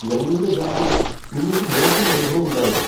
ഞങ്ങളുടെ ബ്രാഞ്ചിൽ നിങ്ങൾക്ക് മോശം അനുഭവമുണ്ടായെന്നോ?